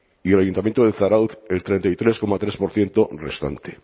y el ayuntamiento de zarautz el treinta y tres coma tres por ciento restante